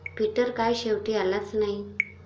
Peter काय शेवटी आलाच नाही.